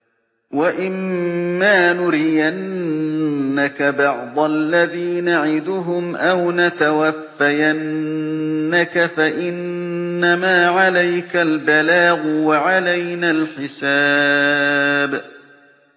وَإِن مَّا نُرِيَنَّكَ بَعْضَ الَّذِي نَعِدُهُمْ أَوْ نَتَوَفَّيَنَّكَ فَإِنَّمَا عَلَيْكَ الْبَلَاغُ وَعَلَيْنَا الْحِسَابُ